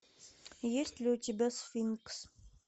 есть ли у тебя сфинкс